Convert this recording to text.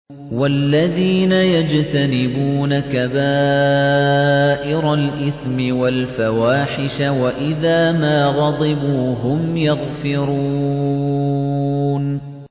وَالَّذِينَ يَجْتَنِبُونَ كَبَائِرَ الْإِثْمِ وَالْفَوَاحِشَ وَإِذَا مَا غَضِبُوا هُمْ يَغْفِرُونَ